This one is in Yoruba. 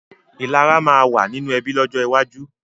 Ìlara máa ma wà nínú ẹbí lọ́jọ́ iwájú